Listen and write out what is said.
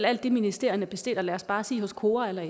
alt det ministerierne bestiller hos lad os bare sige kora eller